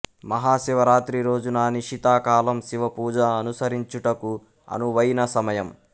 మహా శివరాత్రి రోజున నిషితా కాలం శివ పూజ అనుసరించుటకు అనువైన సమయం